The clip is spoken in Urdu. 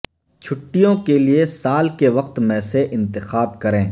چھٹیوں کے لئے سال کے وقت میں سے انتخاب کریں